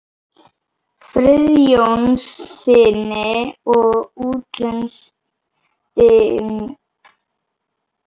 Friðjónssyni og útlendingslega fylgdarmanninum sem var